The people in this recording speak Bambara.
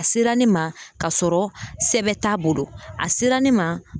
A sera ne ma ka sɔrɔ sɛbɛn t'a bolo a sera ne ma